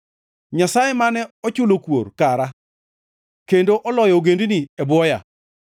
Nyasaye mane ochulo kuor kara kendo oloyo ogendini e bwoya;